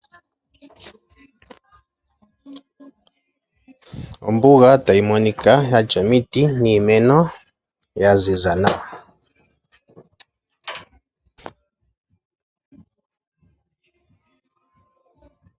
Ombuga tayi monika yatya omiti niimeno ya ziza nawa.